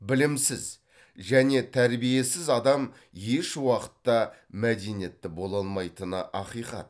білімсіз және тәрбиесіз адам еш уақытта мәдениетті бола алмайтыны ақиқат